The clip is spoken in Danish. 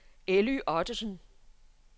Elly Ottesen